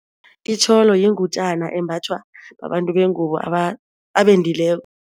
Itjholo yingutjana embathwa babantu bengubo abendileko.